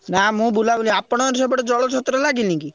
ନା ମୁଁ ବୁଲାବୁଲି ଆପଣଙ୍କର ସେପଟରେ ଜଳ ଛତ୍ର ଲାଗିନିକି?